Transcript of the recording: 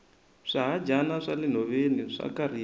swihadyana swa le nhoveni swa kariha